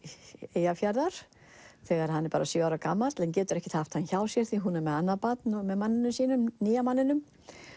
Eyjafjarðar þegar hann er bara sjö ára gamall en getur ekkert haft hann hjá sér því hún er með annað barn með manninum sínum nýja manninum